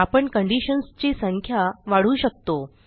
आपण कंडिशन्स ची संख्या वाढवू शकतो